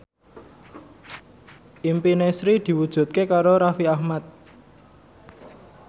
impine Sri diwujudke karo Raffi Ahmad